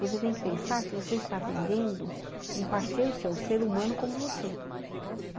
Você tem que pensar que você está atendendo um parceiro seu, um ser humano como você.